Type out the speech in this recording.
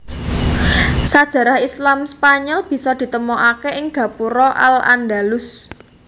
Sajarah Islam Spanyol bisa ditemokaké ing gapura al Andalus